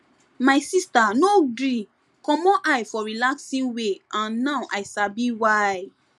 my sister no gree commot eye for relaxing way and now i sabi why